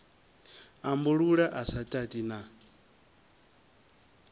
ambulula a sa tati na